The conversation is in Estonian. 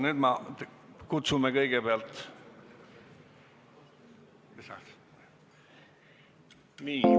" Nüüd kutsume kõigepealt inimesed saali.